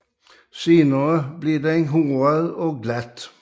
Senere bliver den håret og glat